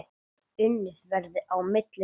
Unnið verði á milli funda.